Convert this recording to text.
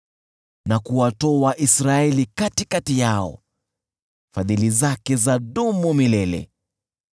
Na kuwatoa Israeli katikati yao, Fadhili zake zadumu milele .